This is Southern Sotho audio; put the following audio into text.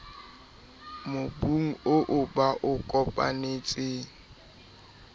mobung oo ba o kopanetseng